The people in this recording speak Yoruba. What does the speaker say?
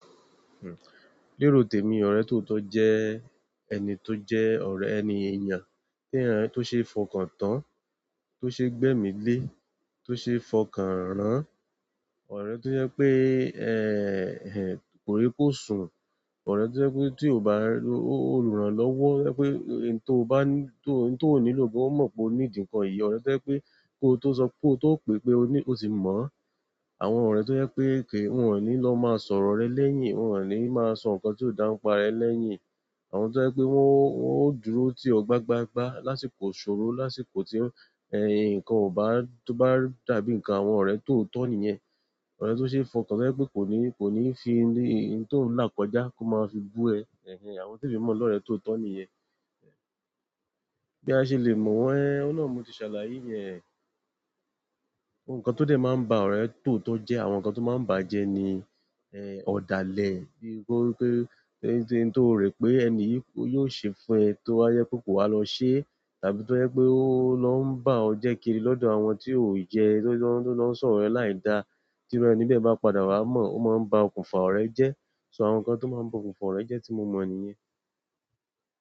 Hmm lérò tèmi ọ̀rẹ́ tòo tọ́ jẹ́ ẹni tó jẹ́ ọ̀rẹ́ ẹni èèyàn, tí èèyàn tó ṣe fọkàn tán, tó ṣe gbẹ́mì lé, tó ṣe ẹ fọkàn rán, ọ̀rẹ́ tó jẹ́ pé, ehn kòrí kò sùn, ọ̀rẹ́ tó jẹ́ pé tí o bá lu olùrànlọ́wọ́, pé ohun tó bá ní, ohun tó ò nílò bó mo po nídi nǹkan yìí, ọ̀rẹ́ tó jẹ́ pé kó tó sọ pé kó tó pè pé o ní o ti mọ̀, àwọn ọ̀rẹ́ tó jẹ́ pé kí wọ́n ò ní lọ má sọ̀rọ̀ rẹ lẹ́yìn, wọ́n ò ní máa sọ ǹkan tí ò dáńpá rẹ lẹ́yìn, àwọn tó jẹ́ pé wọ́n ó wọn ò dúró tí ọ gbá gbá gbá lásìkò ìṣòro, lásìkò tí ń nǹkan ò bá, tó bá dàbí ǹkan àwọn ọ̀rẹ́ toò tọ́ nìyẹn. Ọ̀rẹ́ tó ṣe fọkàn, tó jẹ́ pé kò ní, kò ní fi ohun tó ń là kọjá kó máa fi bú ẹ, ẹh ehhn àwọn té mi mọ̀ lọ́rẹ́ tòó tọ́ nìyẹn. Bí a ṣe lè mọ̀ wọ́n ehn, ohun náà ni mo ti ṣàlàyé yẹn. Gbogbo nkàn to dẹ̀ máa ń ba ọ̀rẹ́ toò tọ́ jẹ́, àwọn ǹkan tó máa ń bàa jẹ́ ni ẹ̀hn ọ̀dàlẹ̀ bí kò jẹ pè kìí ṣe òun tí ó rò pé èni yìí yóò ṣe fún ẹ to bá jẹ́ pé kò wá lọ ṣé, tàbí tó jẹ́ pé ó lọ ń bá ọ́ jẹ́ kiri lọ dọ̀ àwọn tí ó yẹ tí ó lọ ń tí ó lọ ń sọ̀rọ̀ rẹ laida tí irú ẹni bẹ́ẹ̀ bá padà wá mọ̀, ó máa ń ba okùn fà ọ̀rẹ́ jẹ́. So àwọn ǹkan tó máa ń ba okùnfà ọ̀rẹ́ jẹ́ tí mo mọ̀ nìyẹn.